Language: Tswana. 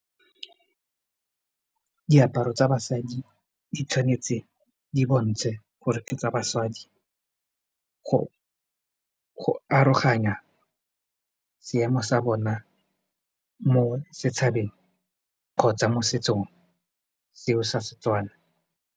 Diaparo tsa basadi di tshwanetse di bontshe gore ke tsa basadi go aroganya seemo sa bona mo setšhabeng kgotsa mo setsong seo sa Setswana.